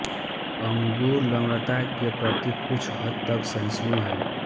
अंगूर लवणता के प्रति कुछ हद तक सहिष्णु है